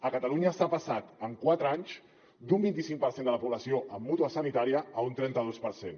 a catalunya s’ha passat en quatre anys d’un vint i cinc per cent de la població amb mútua sanitària a un trenta dos per cent